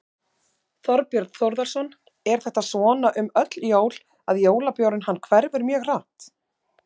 Þorbjörn Þórðarson: Er þetta svona um öll jól að jólabjórinn hann hverfur mjög hratt?